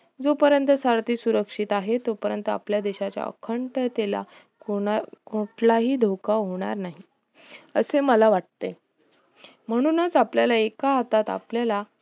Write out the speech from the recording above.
जो पर्यंत सारधीं सुरक्षता आहे तो पर्यंत आपल्या देशाच्या अखंडतेला कुठलाही धोका होणार नाही असे मला वाटते म्हणूनच आपल्या एका हातात आपल्याला